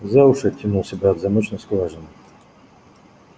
за уши оттянул себя от замочной скважины